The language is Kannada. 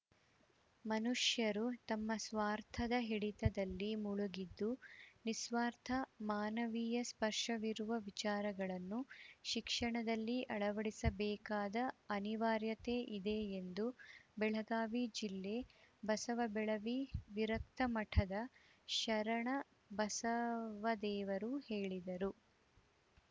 ಮನುಷ್ಯರು ತಮ್ಮ ಸ್ವಾರ್ಥದ ಹಿಡಿತದಲ್ಲಿ ಮುಳುಗಿದ್ದು ನಿಸ್ವಾರ್ಥ ಮಾನವೀಯ ಸ್ಪರ್ಶವಿರುವ ವಿಚಾರಗಳನ್ನು ಶಿಕ್ಷಣದಲ್ಲಿ ಅಳವಡಿಸಬೇಕಾದ ಅನಿವಾರ್ಯತೆ ಇದೆ ಎಂದು ಬೆಳಗಾವಿ ಜಿಲ್ಲೆ ಬಸವಬೆಳವಿ ವಿರಕ್ತಮಠದ ಶರಣಬಸವದೇವರು ಹೇಳಿದರು